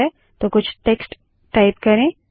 तो कुछ text type करें